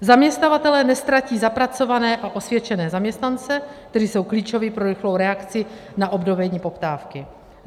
Zaměstnavatelé neztratí zapracované a osvědčené zaměstnance, kteří jsou klíčoví pro rychlou reakci na obnovení poptávky.